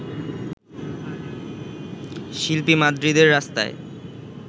শিল্পী মাদ্রিদের রাস্তায়